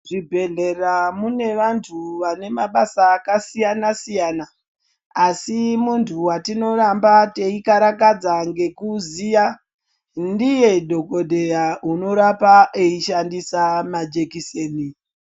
Muzvibhedhlera mune vantu vane mabasa akasiyana-siyana, asi muntu wetinoramba teikaratadza ngekuziya, ndiye dhokodheya unorapa eishandisa majekiseni.